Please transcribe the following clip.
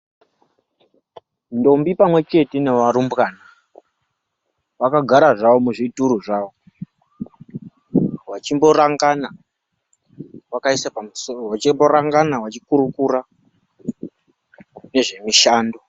Ndombi pamwechete nevarumbwana vakagara zvavo muzvituru zvavo, vachimborangana vachikurukura nezvemishando.